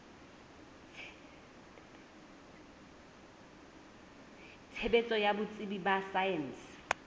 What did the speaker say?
tshebetso ya botsebi ba saense